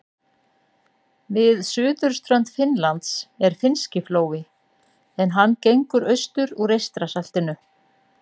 Við suðurströnd Finnlands er Finnski flói en hann gengur austur úr Eystrasaltinu.